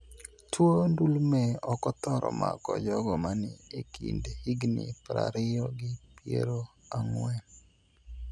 Tuo ndulme okothoro mako jogo mani ekind higni prariyo gi piero ang`wen.